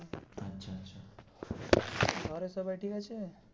ঘরে সবাই ঠিক আছে.